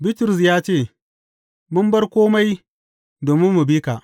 Bitrus ya ce, Mun bar kome domin mu bi ka!